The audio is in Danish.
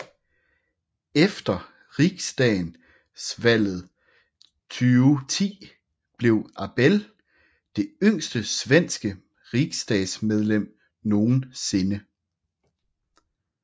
Efter riksdagsvalget 2010 blev Abele det yngste svenske riksdagsmedlem nogen sinde